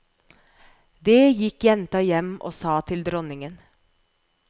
Det gikk jenta hjem og sa til dronningen.